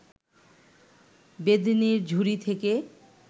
বেদেনির ঝুড়ি থেকে